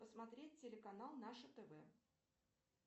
посмотреть телеканал наше тв